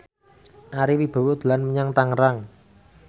Ari Wibowo dolan menyang Tangerang